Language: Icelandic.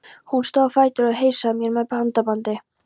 Hún stóð á fætur og heilsaði mér með handabandi.